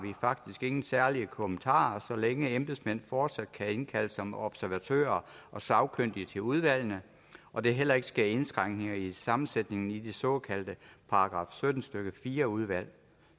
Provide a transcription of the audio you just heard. vi faktisk ingen særlige kommentarer har så længe embedsmænd fortsat kan indkaldes som observatører og sagkyndige til udvalgene og der heller ikke sker indskrænkninger i sammensætningen i de såkaldte § sytten stykke fire udvalg